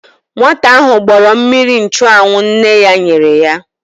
Nwata ahụ gbọrọ mmiri nchụanwụ nne ya nyere ya.